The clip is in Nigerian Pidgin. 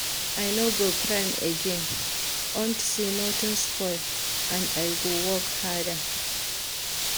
I no go cry again unto say nothing spoil and I go work harder.